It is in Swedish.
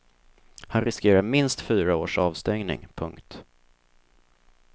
Han riskerar minst fyra års avstängning. punkt